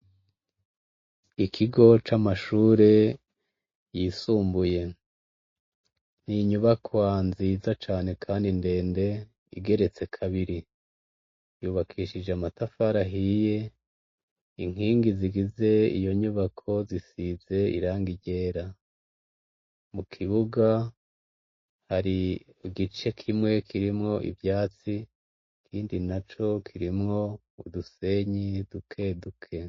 ikigo c'amashure yisumbuye ni inyubakwa nziza cane kandi ndende igeretse kabiri yubakishije amatafari hiye inkingi zigize iyo nyubako zisize irangi ryera mu kibuga hari igice kimwe kirimwo ivyatsi kindi na co kirimwo udusenyi dukeduke